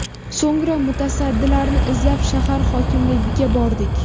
So‘ngra mutasaddilarni izlab, shahar hokimligiga bordik.